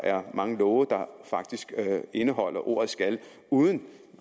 er mange love der faktisk indeholder ordet skal uden